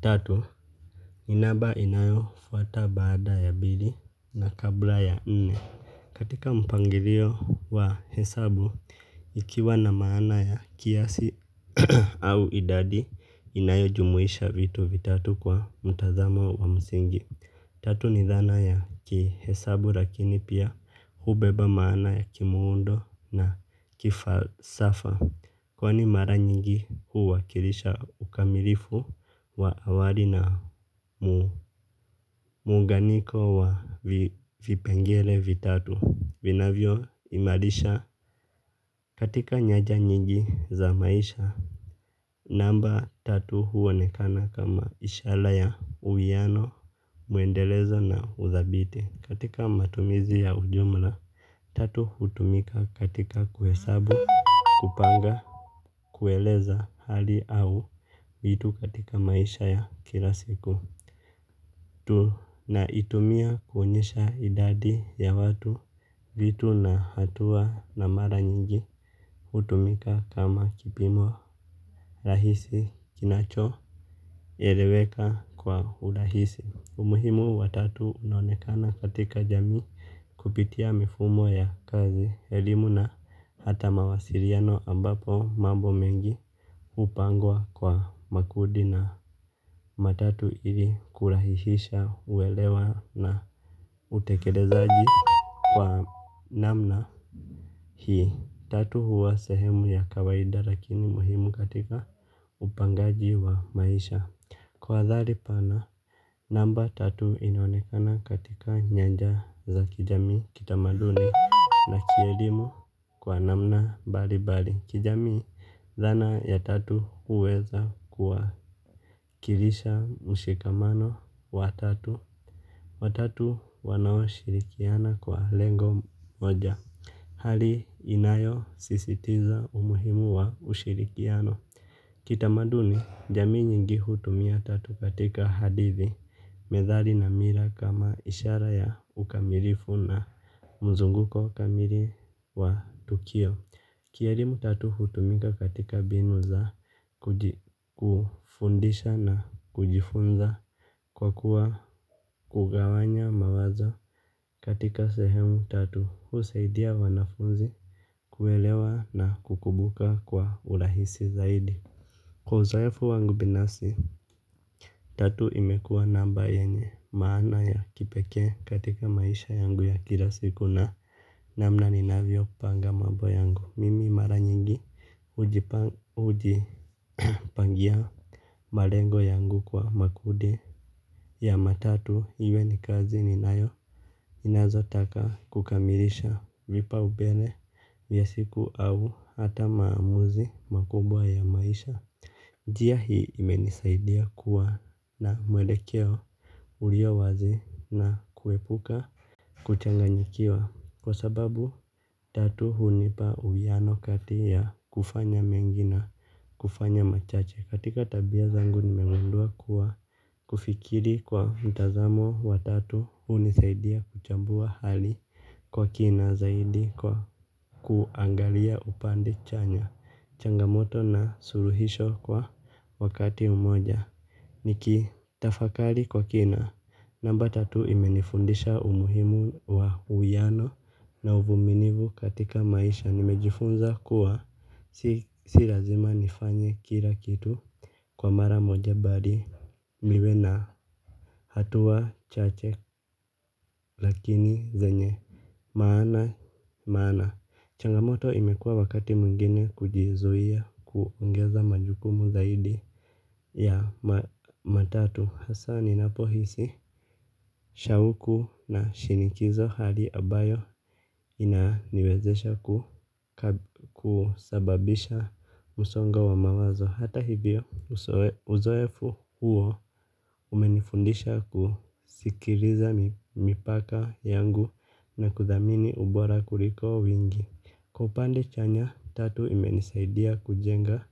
Tatu, ni namba inayofuata baada ya mbili na kabla ya nne. Katika mpangilio wa hesabu, ikiwa na maana ya kiasi au idadi, inayojumuisha vitu vitatu kwa mtazamo wa msingi. Tatu ni dhana ya kihesabu lakini pia hubeba maana ya kimuundo na kifarsafa. Kwani mara nyingi huwakilisha ukamilifu wa awali na muunganiko wa vipengele vitatu, vinavyoimarisha katika nyaja nyingi za maisha. Namba tatu huonekana kama ishara ya uwiano, muendelezo na uthabiti. Katika matumizi ya ujumla, tatu hutumika katika kuhesabu, kupanga, kueleza hali au vitu katika maisha ya kila siku. Tunaitumia kuonyesha idadi ya watu, vitu na hatua na mara nyingi hutumika kama kipimo rahisi kinachoeleweka kwa urahisi. Umuhimu wa tatu unonekana katika jamii kupitia mifumo ya kazi, elimu na hata mawasiliano ambapo mambo mengi hupangwa kwa makudi matatu ili kurahisisha uelewa na utekelezaaji kwa namna hii. Tatu huwa sehemu ya kawaida lakini muhimu katika, upangaji wa maisha. Kwa athari pana, namba tatu inaonekana katika nyaja za kijamii, kitamaduni, kielimu kwa namna mbali mbali. Kijamii, dhana ya tatu huweza kuwakilisha mshikamano wa tatu, watatu wanaoshirikiana kwa lengo moja. Hali inayosisitiza umuhimu wa ushirikiano. Kitamaduni, jamii nyingi hutumia tatu katika hadithi, methali na mila kama ishara ya ukamilifu na mzunguko kamili wa tukio. Kielimu tatu hutumika katika mbinu za kujifundisha na kujifunza kwa kuwa, kugawanya mawazo katika sehemu tatu husaidia wanafunzi kuelewa na kukumbuka kwa urahisi zaidi. Kwa uzoefu wangu binafsi, tatu imekuwa namba yenye maana ya kipekee katika maisha yangu ya kila siku na namna ninavyopanga mambo yangu. Mimi mara nyingi, hujipangia malengo yangu kwa makudi ya matatu, iwe ni kazi ninayo, ninazotaka kukamilisha vipaumbele vya siku au hata maamuzi makubwa ya maisha. Njia hii imenisaidia kuwa ma mwelekeo ulio wazi na kuepuka kuchanganyikiwa, kwa sababu tatu hunipa uwiano kati ya kufanya mengi na kufanya machache. Katika tabia zangu nimengundua kuwa kufikiri kwa mtazamo wa tatu, hunisaidia kuchambua hali kwa kina zaidi kwa kuangalia upande chanya. Changamoto na suluhisho kwa wakati mmoja. Nikitafakari kwa kina, namba tatu imenifundisha umuhimu wa uwiano na uvumilivu katika maisha. Nimejifunza kuwa si lazima nifanye kila kitu kwa mara moja mbali, niwe na hatua chache lakini zenye maana. Changamoto imekua wakati mwngine kujizuia kuongeza majukumu zaidi ya matatu hasa ninapohisi, shauku na shinikizo hali ambayo inaniwezesha husababisha msongo wa mawazo. Hata hivyo, uzoefu huo umenifundisha kusikiliza mipaka yangu na kuthamini ubora kuliko wingi. Kwa upande chanya, tatu imenisaidia kujenga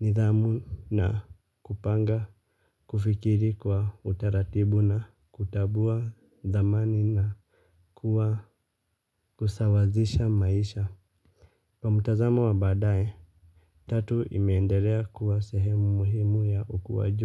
nidhamu na kupanga kufikiri kwa utaratibu na kutambua thamani na kusawazisha maisha. Kwa mtazamo wa baadaye, tatu imeendelea kuwa sehemu muhimu ya ukuaji.